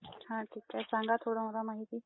अं !ठीक आहे सांगा थोड मला माहिती